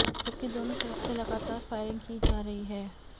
जबकि दोनों तरफ़ से लगातार फ़ायरिंग की जा रही है